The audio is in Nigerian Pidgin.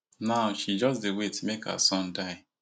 now she just dey wait make her son die